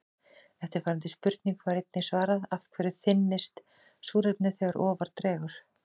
Eftirfarandi spurningu var einnig svarað: Af hverju þynnist súrefnið þegar ofar dregur?